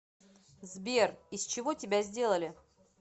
сбер из чего тебя сделали